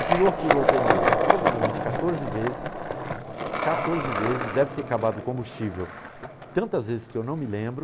A perua furou o pneu provavelmente quatorze vezes, deve ter acabado o combustível tantas vezes que eu não me lembro.